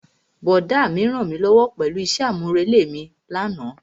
Brọ̀dá mi rànmílówó pẹ̀lú isẹ́ àmúrelé mi lánàá.